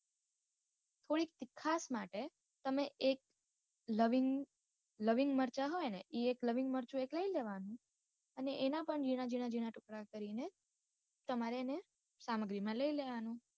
કોઈક એક ખાસ માટે તમે એક લવિંગ લવિંગ મરચાં હોય ને ઇ એક લવિંગ મરચુ એક લઇ લેવાનું અને એના પણ જીણા જીણા જીણા ટુકડા કરી ને તમારે એને સામગ્રી માં લઇ લેવાનું.